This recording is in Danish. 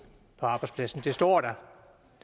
på arbejdspladsen det står der